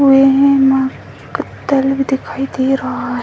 हुए हैं माँ भी दिखाई दे रहा है।